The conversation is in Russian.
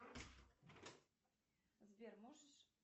сбер можешь